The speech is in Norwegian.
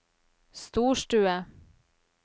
storstue